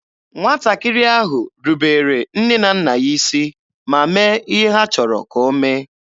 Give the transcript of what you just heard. Nwatakịrị ahụ rubere nne na nna ya isi ma mee ihe ha chọrọ ka o mee.